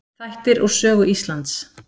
Þættir úr sögu Íslands.